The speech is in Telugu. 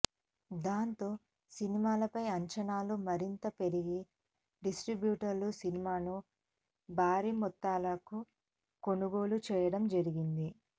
దాంతో సినిమాపై అంచనాలు మరింతగా పెరిగి డిస్ట్రిబ్యూటర్లు సినిమాను భారీ మొత్తాలకు కొనుగోలు చేయడం జరిగింది